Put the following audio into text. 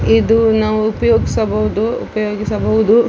ಇದು ನಾವು ಉಪಯೋಗ್ಸ ಬಹುದು ಉಪಯೋಗಿಸಬಹುದು .